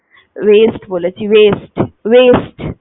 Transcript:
Waist বলেছি waist, waist